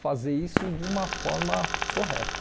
fazer isso de uma forma correta.